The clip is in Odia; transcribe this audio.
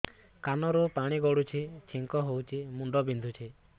ନାକରୁ ପାଣି ଗଡୁଛି ଛିଙ୍କ ହଉଚି ମୁଣ୍ଡ ବିନ୍ଧୁଛି